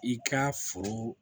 I ka foro